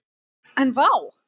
En vá!